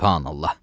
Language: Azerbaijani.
Sübhanallah!